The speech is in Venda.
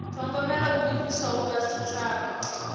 thogomela ho livhiswaho kha tshitshavha